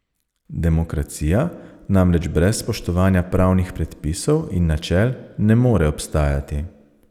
Demokracija namreč brez spoštovanja pravnih predpisov in načel ne more obstajati.